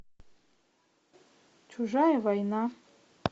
чужая война